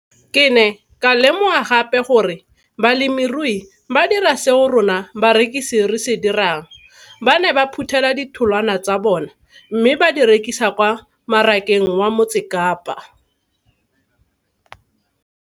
Ke ne ka lemoga gape gore balemirui ba dira seo rona barekisi re se dirang ba ne ba phuthela ditholwana tsa bona mme ba di rekisa kwa marakeng wa Motsekapa.